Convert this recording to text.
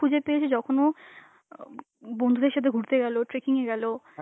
খুঁজে পেয়েছে যখন ও আ বন্ধুদের সাথে ঘুরতে গেল, trekking এ গেল,